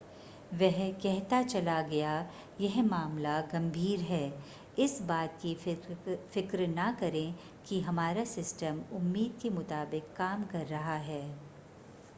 वह कहता चला गया यह मामला गंभीर है इस बात की फ़िक्र न करें कि हमारा सिस्टम उम्मीद के मुताबिक काम कर रहा है